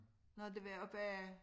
Nåh det var oppe